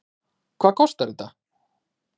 Hvað kostar þetta?